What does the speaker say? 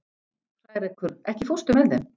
Hrærekur, ekki fórstu með þeim?